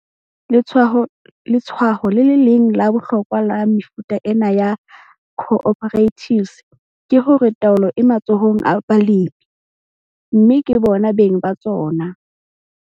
Letshwao le le leng la bohlokwa la mefuta ena ya co-operatives ke hore taolo e matsohong a balemi, mme ke bona beng ba tsona.